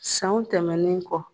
Sanw tɛmɛnnen kɔ.